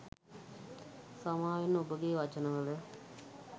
සමාවෙන්න ඔබගේ වචනවල